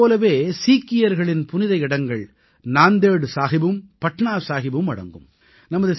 இதைப் போலவே சீக்கியர்களின் புனித இடங்கள் நாந்தேட் சாஹிபும் பட்னா சாஹிபும் அடங்கும்